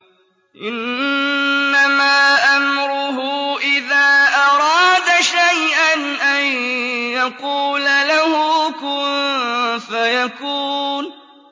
إِنَّمَا أَمْرُهُ إِذَا أَرَادَ شَيْئًا أَن يَقُولَ لَهُ كُن فَيَكُونُ